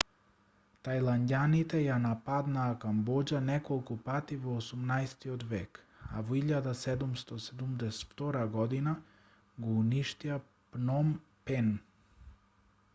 тајланѓаните ја нападнаа камбоџа неколку пати во 18-от век а во 1772 г го уништија пном пен